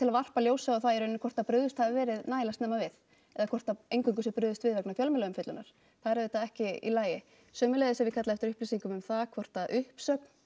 varpa ljósi á það í rauninni hvort brugðist hafi verið nægilega snemma við eða hvort að eingöngu sé brugðist við vegna fjölmiðlaumfjöllunar það er auðvitað ekki í lagi sömuleiðis hef ég kallað eftir upplýsingum um það hvort að uppsögn